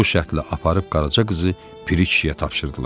Bu şərtlə aparıb Qaraca qızı Piri kişiyə tapşırdılar.